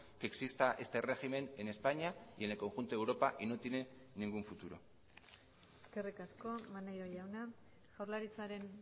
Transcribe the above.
que exista este régimen en españa y en el conjunto de europa y no tiene ningún futuro eskerrik asko maneiro jauna jaurlaritzaren